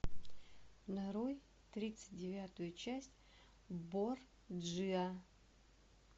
нарой тридцать девятую часть борджиа